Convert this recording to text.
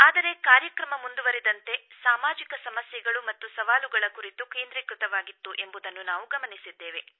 ಆದರೆ ಕಾರ್ಯಕ್ರಮ ಮುಂದುವರಿದಂತೆ ಸಾಮಾಜಿಕ ಸಮಸ್ಯೆಗಳು ಮತ್ತು ಸವಾಲುಗಳ ಕುರಿತು ಕೇಂದ್ರೀಕೃತವಾಗಿತ್ತು ಎಂಬುದನ್ನು ನಾವು ಗಮನಿಸಿದ್ದೇವೆ